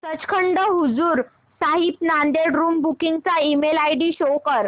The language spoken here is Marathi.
सचखंड हजूर साहिब नांदेड़ रूम बुकिंग चा ईमेल आयडी शो कर